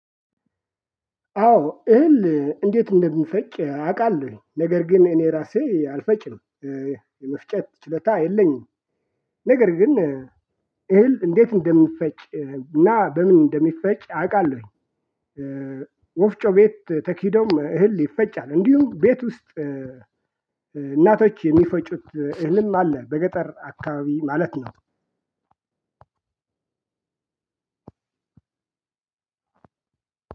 አዎ እህል እንዴት እንደሚፈጭ አውቃለሁኝ ነገር ግን እኔ ራሴ አልፈጭም የመፍጨት ችሎታ የለኝም። ነገር ግን እህል እንዴት እንደሚፈጭ እና በምን እንደሚፈጭ አውቃለሁኝ። ወፍጮ ቤት ተኪዶም እህል ይፈጫል እንዲሁም ቤት ውስጥ እናቶች የሚፈጩት እህልም አለ በገጠር አካባቢ ማለት ነው።